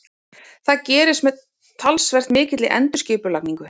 Það gerist með talsvert mikilli endurskipulagningu.